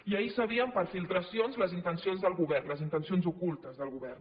i ahir sabíem per filtracions les intencions del govern les intencions ocultes del govern